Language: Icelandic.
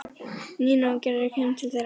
Nína og Gerður komu til þeirra.